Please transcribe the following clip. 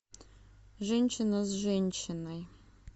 женщина с женщиной